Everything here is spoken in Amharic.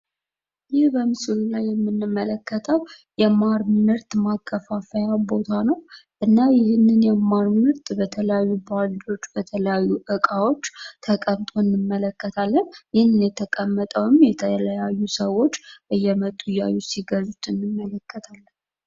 ይህ በምስሉ የምንመለከተው የማር ምርት ማከፋፈያ ቦታ ነው። እና ይህንን የማር ምርት በተለያዩ ቦታዎች በተለያዩ እቃዎች ተቀምጦ እንመለከታለን። ይህን የተቀመጠውም የተለያዩ ሰዎች እየመጡ እያዩ ሲገዙት እንመለከታለን።